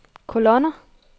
kolonner